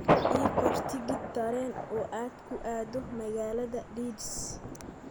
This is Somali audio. ii qor tigidh tareen oo aad ku aado magaalada Leeds